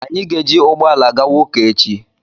anyị ga-ejị ụgbọ ala gawa ụka echi